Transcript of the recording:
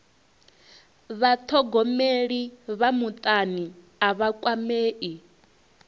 vhathogomeli vha mutani a vha kwamei